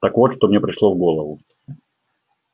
так вот что мне пришло в голову